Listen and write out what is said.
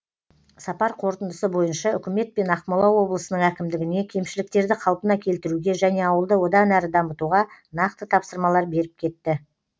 сапар қорытындысы бойынша үкімет пен ақмола облысының әкімдігіне кемшіліктерді қалпына келтіруге және ауылды одан әрі дамытуға нақты тапсырмалар беріп кетті